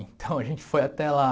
Então, a gente foi até lá.